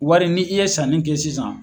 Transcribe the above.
Wari ni i ye sanni kɛ sisan.